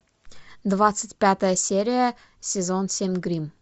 двадцать пятая серия сезон семь гримм